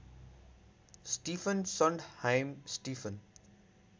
Stephen Sondheim Stephen